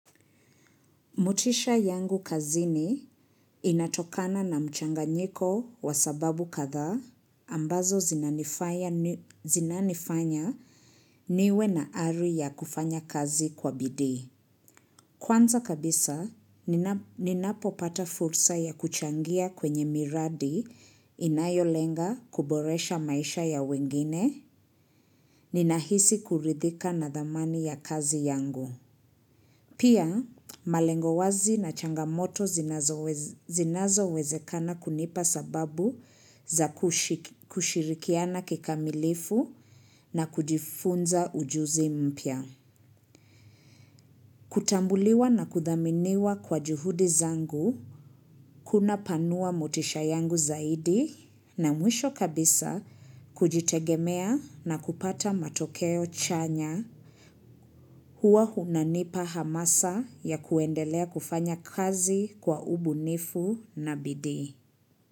Motisha yangu kazini inatokana na mchanganyiko wa sababu kadhaa ambazo zinanifaya zinanifanya niwe na ari ya kufanya kazi kwa bidi. Kwanza kabisa, ninapopata fursa ya kuchangia kwenye miradi inayolenga kuboresha maisha ya wengine, ninahisi kuridhika na thamani ya kazi yangu. Pia, malengo wazi na changamoto zinazowez zinazowezekana kunipa sababu za kushirikiana kikamilifu na kujifunza ujuzi mpya. Kutambuliwa na kudhaminiwa kwa juhudi zangu kunapanua motisha yangu zaidi na mwisho kabisa kujitegemea na kupata matokeo chanya huwa hunanipa hamasa ya kuendelea kufanya kazi kwa ubunifu na bidii.